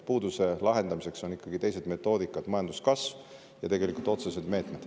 Puuduse lahendamiseks on ikkagi teised metoodikad: majanduskasv ja tegelikult otsesed meetmed.